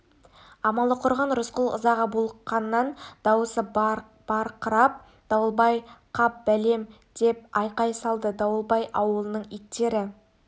амалы құрыған рысқұл ызаға булыққаннан дауысы барқырап дауылбай қап бәлем деп айқай салды дауылбай ауылының иттері